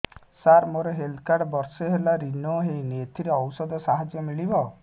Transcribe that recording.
ସାର ମୋର health card ବର୍ଷେ ହେଲା ରିନିଓ ହେଇନି ଏଥିରେ ଔଷଧ ସାହାଯ୍ୟ ମିଳିବ